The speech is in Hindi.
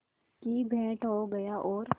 की भेंट हो गया और